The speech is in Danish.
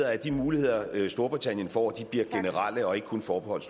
at de muligheder storbritannien får bliver generelle og ikke kun forbeholdt